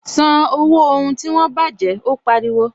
San owó ohun tí wọ́n baje! Ó pariwo